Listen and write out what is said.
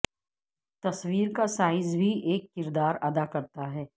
تصویر کا سائز بھی ایک کردار ادا کرتا ہے